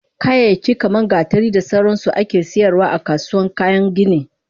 Kayayyaki kaman gatari da sauransu ake saidawa akasuwan kayan gini